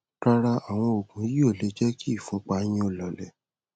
rárá àwọn òògùn yìí ò lè jẹ kí ìfúnpá yín ó lọọlẹ